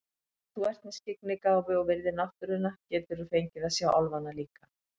Ef þú ert með skyggnigáfu og virðir náttúruna geturðu fengið að sjá álfana líka.